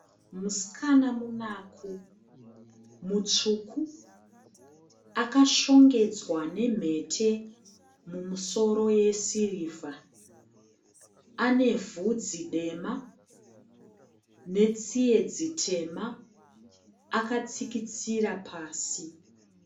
Musikana munaku mutsvuku akashongedzwa nemhete mumusoro yesirivha. Anevhudzi dema netsiye dzitema akatsikitsira pasi.